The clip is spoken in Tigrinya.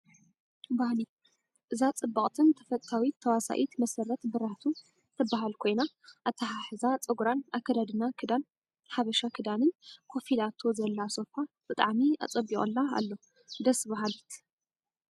ባህሊ፦ እዛ ፅብቅትን ተፈታዊት ተወሳኢት መሰረት ብራህቱ ትባሃል ኮይና ኣተሓሓዛ ፀጉራን ኣከዳድና ክዳን ሓበሻ ክዳንን ኮፍ ኢላቶ ዘላ ሶፋ ብጣዕሚ ኣፀቢቁላ ኣሎ። ደስ ባሀሊት!